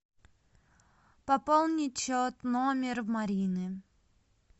пополнить счет номер марины